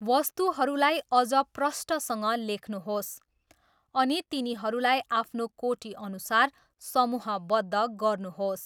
वस्तुहरूलाई अझ प्रष्टसँग लेख्नुहोस् अनि तिनीहरूलाई आफ्नो कोटीअनुसार समूहबद्ध गर्नुहोस्।